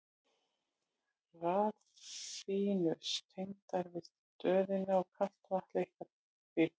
Þá eru raflínur tengdar við stöðina og kalt vatn leitt að í pípum.